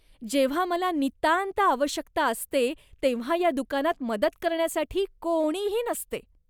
जेव्हा मला नितांत आवश्यकता असते तेव्हा या दुकानात मदत करण्यासाठी कोणीही नसते.